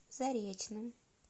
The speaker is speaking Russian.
заречным